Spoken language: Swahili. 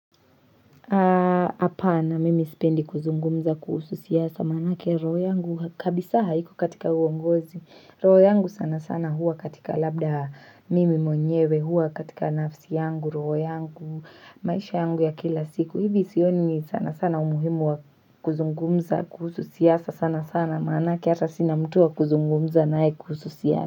Hapana mimi sipendi kuzungumza kuhusu siasa, manake roho yangu kabisa haiko katika uongozi. Roho yangu sana sana hua katika labda mimi mwenyewe hua katika nafsi yangu roho yangu, maisha yangu ya kila siku hivi sioni sana sana umuhimu wa kuzungumza kuhusu siasa sana sana manake hata sina mtu wa kuzungumza naye kuhusu siasa.